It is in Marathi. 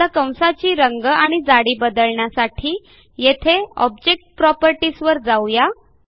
आता कंसाची रंग आणि जाडी बदलण्यासाठी येथे ऑब्जेक्ट प्रॉपर्टीज वर जाऊ या